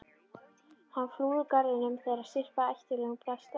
Hann flúði úr garðinum þegar syrpa af ættjarðarlögum brast á.